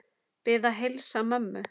Bið að heilsa mömmu.